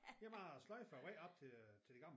Det bare at sløjfe vejen op til øh til det gamle